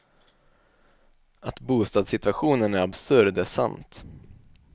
Att bostadssituationen är absurd är sant.